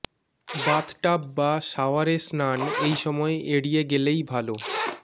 bathtub বা শাওয়ারে স্নান এই সময় এড়িয়ে গেলেই ভালো